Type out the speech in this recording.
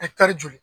joli